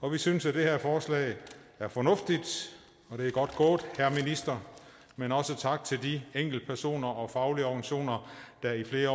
og vi synes at det her forslag er fornuftigt det et godt gået herre minister men også tak til de enkeltpersoner og faglige organisationer der i flere